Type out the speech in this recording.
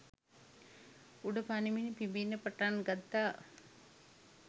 උඩ පනිමින් පිඹින්න පටන් ගත්තා